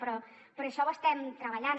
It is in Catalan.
però això ho estem treballant